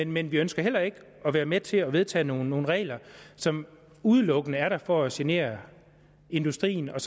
men vi ønsker heller ikke at være med til at vedtage nogle regler som udelukkende er der for at genere industrien og